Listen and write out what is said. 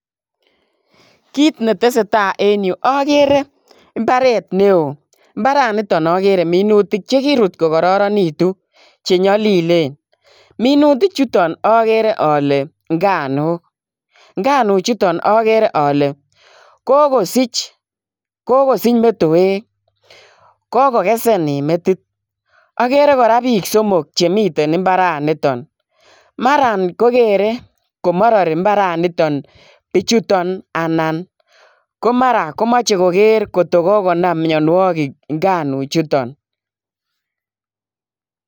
Kit ne tese tai en yu akere mbaret ne oo. Mbaraniton akere minutik che kirut kokararanitu che nyalilen. Minutik chuton akere ale nganuuk. Nganuchuton akere ale kokosich metoek, kokesen en metit. Akere kora piik somok che miten mbaraniton. Mara kokere ko marari mbaranitan pichuton anan ko mara ko mache koker ngot ko kokonam mianwogik nganuchuton.